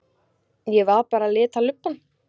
Ég var bara að lita lubbann.